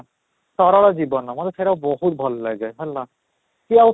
ସରଳ ଜୀବନ ମୋତେ ସେଇଟା ବହୁତ ଭଲ ଲାଗେ ହେଲା କି ଆଉ